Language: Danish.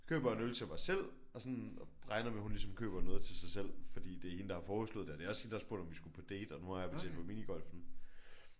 Køber en øl til mig selv og sådan regner med at hun ligesom køber noget til sig selv fordi det er hende der har foreslået det og det er også hende der har spurgt om vi skulle på date og nu har jeg betalt for minigolfen